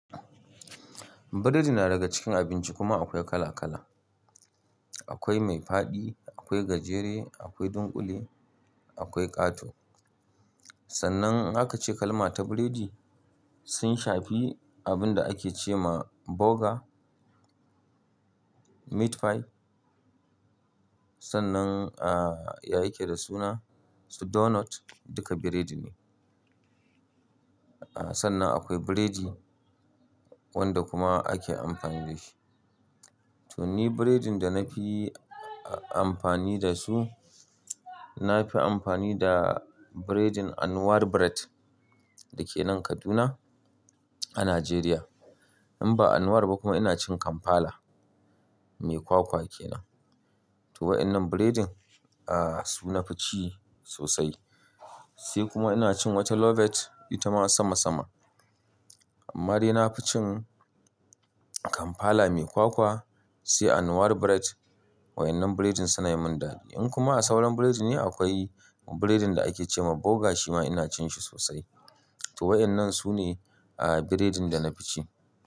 Biredin na daga cikin abinci kuma akwai kala kala. Akwai mai fadi, akwai gajere, akwai dunkule, akwai kato. Sannan in aka ce kalma ta biredi, sun shafi abun da ake ce ma burger, meat pie. Sannan, a ya yake da suna su donut duka biredi ne. Sannan akwai biredi wanda kuma ake amfani da shi. To ni biredin da na fi amfani da su, na fi amfani da biredin Anwar Bread da ke nan Kaduna a Najeriya. In ba Anwar ba kuma ina cin Kampala mai kwakwa kenan. To wayannan biredin a su na fi ci sosai. Sai kuma ina cin wata lovet ita ma sama sama. Amma dai na fi cin Kampala mai kwakwa sai Anwar Bread. Wayannan biredin suna yi min dadi. In kuma a sauran biredi ne akwai biredin da ake ce ma burger shi ma ina cin shi sosai. To wayannan su ne a biredin da na fi ci.